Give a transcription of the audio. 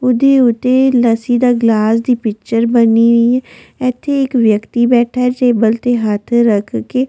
ਉਹਦੇ ਉੱਤੇ ਲੱਸੀ ਦਾ ਗਲਾਸ ਦੀ ਪਿਚਰ ਬਣੀ ਹੋਈ ਹੈ ਇੱਥੇ ਇੱਕ ਵਿਅਕਤੀ ਬੈਠਾ ਹੈ ਟੇਬਲ ਤੇ ਹੱਥ ਰੱਖ ਕੇ